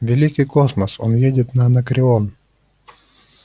великий космос он едет на анакреон